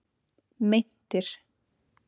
Meintir